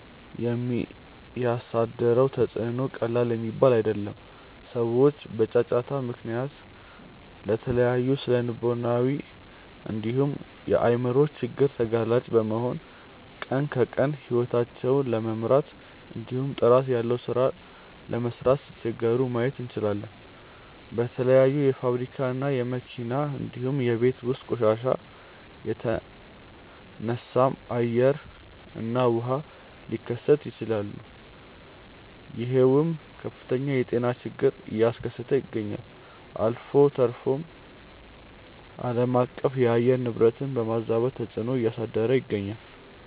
የሚያሳድረው ተፅዕኖ ቀላል የሚባል አይደለም። ሰዎች በጫጫታ ምክንያት ለተለያዩ ስነልቦናዊ እንዲሁም የአይምሮ ችግር ተጋላጭ በመሆን ቀን ከቀን ሂወታቸውን ለመምራት እንዲሁም ጥራት ያለው ሥራ ለመስራት ሲቸገሩ ማየት እንችላለን። በተለያዩ የፋብሪካ እና የመኪና እንዲሁም የቤት ውስጥ ቆሻሻ የተነሳም አየር እና ውሃ ሊበከሉ ይችላሉ ይሄውም ከፍተኛ የጤና ችግርን አያስከተለ ይገኛል። አልፎ ተርፎም አለማቀፍ የአየር ንብረትን በማዛባት ተፅዕኖ እያሳደረ ይገኛል።